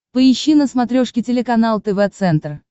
поищи на смотрешке телеканал тв центр